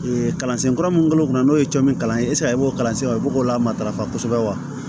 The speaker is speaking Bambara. kalansen kura minnu kɛlen don n'o ye cɔ min kalansen b'o kalan sen na o b'o la matarafa kosɛbɛ wa